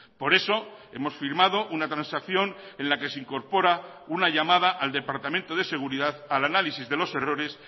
por eso hemos firmado una transacción en la que se incorpora una llamada al departamento de seguridad al análisis de los errores